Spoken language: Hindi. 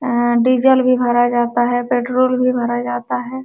आ डीजल भी भरा जाता है पेट्रोल भी भरा जाता है।